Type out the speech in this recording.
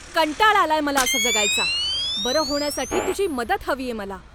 कंटाळा आलाय मला असं जगायचा! बरं होण्यासाठी तुझी मदत हवीये मला!